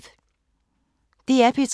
DR P3